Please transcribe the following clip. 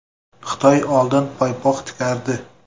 Xitoy oldin paypoq tikardi.